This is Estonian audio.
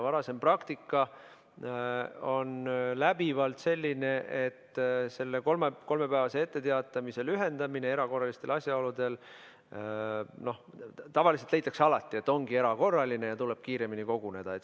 Varasem praktika on läbivalt selline, et selle kolmepäevase etteteatamise lühendamisel erakorraliste asjaolude tõttu tavaliselt leitakse alati, et ongi erakorraline ja tuleb kiiremini koguneda.